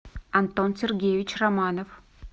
антон сергеевич романов